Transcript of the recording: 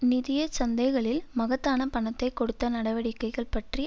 நிதிய சந்தைகளில் மகத்தான பணத்தை கொடுத்த நடவடிக்கைகள் பற்றி